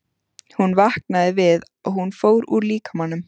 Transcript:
Hún vaknaði við að hún fór úr líkamanum.